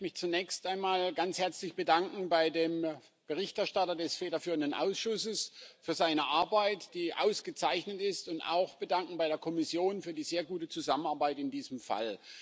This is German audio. Ich möchte mich zunächst einmal ganz herzlich bei dem Berichterstatter des federführenden Ausschusses für seine Arbeit bedanken, die ausgezeichnet ist, und auch bei der Kommission für die sehr gute Zusammenarbeit in diesem Fall.